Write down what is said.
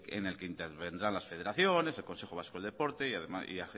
en el que intervendrán las federaciones el consejo vasco del deporte y